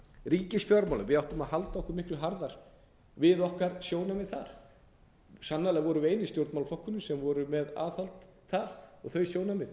ríkisfjármálin við áttum að halda okkur miklu harðar við okkar sjónarmið þar sannarlega vorum við eini stjórnmálaflokkurinn sem var með aðhald þar og þau sjónarmið